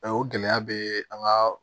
o gɛlɛya bɛ an ka